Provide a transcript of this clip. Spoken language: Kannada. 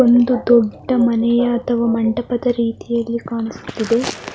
ಒಂದು ದೊಡ್ಡ ಮನೆ ಅಥವಾ ಮಂಟಪದ ರೀತಿಯಲ್ಲಿ ಕಾಣಿಸುತ್ತದೆ .